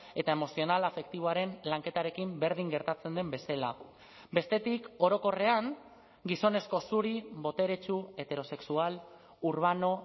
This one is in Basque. eta emozional afektiboaren lanketarekin berdin gertatzen den bezala bestetik orokorrean gizonezko zuri boteretsu heterosexual urbano